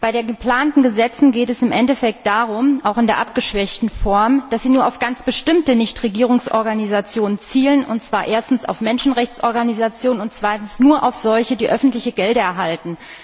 Bei den geplanten Gesetzen geht es auch in der abgeschwächten Form im Endeffekt darum, dass sie nur auf ganz bestimmte Nichtregierungsorganisationen zielen, und zwar erstens auf Menschenrechtsorganisationen und zweitens nur auf solche, die öffentliche Gelder erhalten.